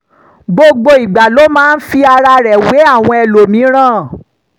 gbogbo ìgbà ló máa ń fi ara rẹ̀ wé àwọn ẹlòmíràn